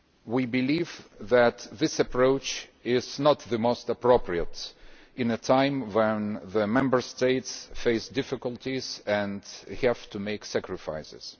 We believe that this approach is not the most appropriate at a time when the Member States are facing difficulties and having to make sacifices.